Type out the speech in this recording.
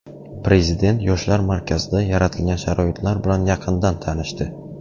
Prezident Yoshlar markazida yaratilgan sharoitlar bilan yaqindan tanishdi.